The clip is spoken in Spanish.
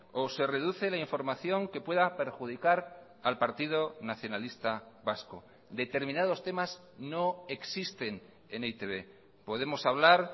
o se reduce la información que pueda perjudicar al partido nacionalista vasco determinados temas no existen en e i te be podemos hablar